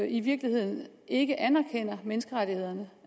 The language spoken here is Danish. i virkeligheden ikke anerkender menneskerettighederne